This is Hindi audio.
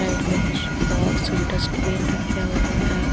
साइड में कुछ बॉक्स डस्टबीन रख्या हुआ है।